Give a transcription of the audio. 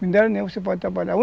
Minério nenhum você pode trabalhar.